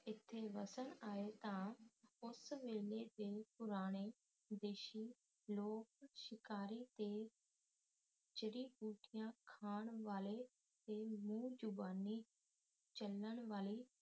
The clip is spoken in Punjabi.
ਇੱਥੇ ਵਸਣ ਆਏ ਤਾ ਉਸ ਵੇਲੇ ਦੇ ਪੁਰਾਣੇ ਦੇਸ਼ੀ ਲੋਕ ਸ਼ਿਕਾਰੀ ਤੇ ਜੁੜੀ ਬੂਟਿਆਂ ਖਾਣ ਵਾਲੇ ਤੇ ਮੂੰਹ ਜ਼ਬਾਨੀ ਚੱਲਣ ਵਾਲੀ